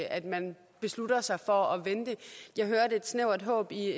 at man beslutter sig for at vente jeg hørte et snævert håb i